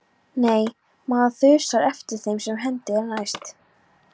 Nei, maður þusar yfir þeim sem hendi er næst.